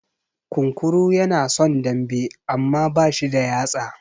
Kunkuru ya na son dambe, amma ba shi da yatsa.